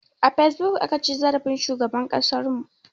A fesbuk aka ci zarafin shugaban ƙasar mu